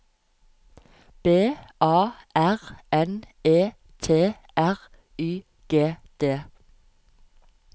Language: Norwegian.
B A R N E T R Y G D